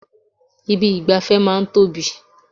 Ibi ìgbafẹ́ máa ń tóbi.